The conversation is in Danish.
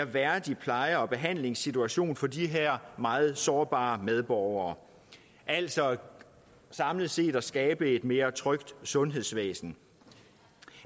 værdig pleje og behandlingssituation for de her meget sårbare medborgere altså samlet set at skabe et mere trygt sundhedsvæsen